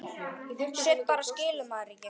Sumt bara skilur maður ekki.